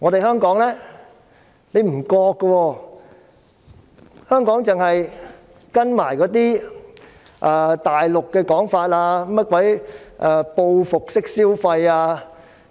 香港卻沒有這樣做，只是跟隨大陸的說法，談及"報復式消費"之類。